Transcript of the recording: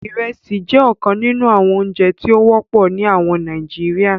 Ìrẹ̀sì jẹ ọ̀kàn nínu àwọn ọ̀ǹjẹ̀ tí o wọpọ̀ ní àwọn Nàìjíríà.